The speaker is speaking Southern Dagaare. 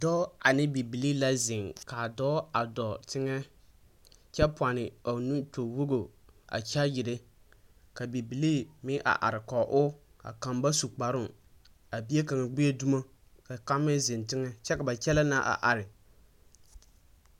Dɔɔ ane bibilee la zeŋ, kaa dɔɔ a dɔɔ teŋɛ kyɛ pone a o nu toowogi a kyaagyire, ka bibilee meŋ are are kɔge o, a kaŋ ba su kparoo. A bie kaŋ gbie dumo, ka kaŋ meŋ zeŋ teŋɛ. Kyɛ ka ba kyɛlee na are are.